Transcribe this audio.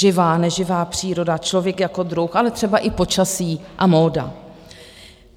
Živá, neživá příroda, člověk jako druh, ale třeba i počasí a móda.